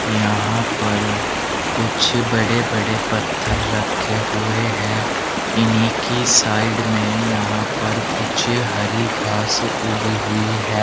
यहां पर कुछ बड़े बड़े पत्थर रखे हुए हैं इन्ही की साइड में यहां पर कुछ हरी घास उगी हुई है।